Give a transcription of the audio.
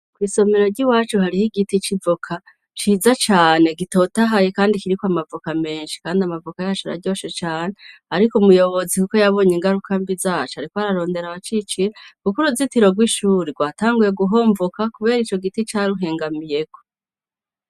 Kw' isomero ry'iwacu hariho igiti c'ivoka ciza cane gitotahaye kandi kiriko amavoka menshi; kandi amavoka yacu araryoshe cane ariko umuyobozi kuko yabonye ingaruka mbi zaco ariko ararondera abacicira kuko uruzitiro rw'ishuri rwatanguye guhomvoka kubera ico giti caruhengamiyeko.